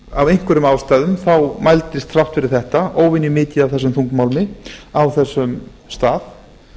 af einhverjum ástæðum mældist þrátt fyrir þetta óvenjumikið af þessum þungmálmi á þessum stað